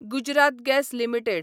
Gujarat gas limited